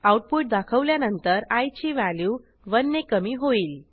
output दाखवल्यानंतर I ची value 1 ने कमी होईल